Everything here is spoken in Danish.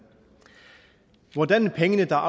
hvordan pengene der er